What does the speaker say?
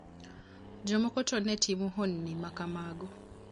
Jomoko to ne timo honni ma kamago.